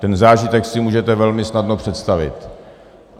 Ten zážitek si můžete velmi snadno představit.